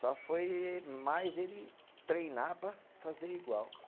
Só foi mais ele treinar para fazer igual.